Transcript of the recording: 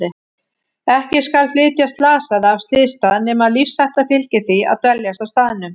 Ekki skal flytja slasaða af slysstað nema lífshætta fylgi því að dveljast á staðnum.